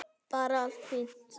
Bara allt fínt.